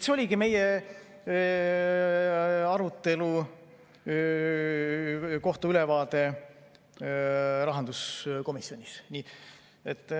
See oligi ülevaade meie arutelust rahanduskomisjonis.